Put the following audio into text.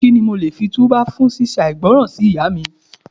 Kí ni mo lè fi tú bá fún ṣí ṣe àìgbọràn sí Ìyá mi.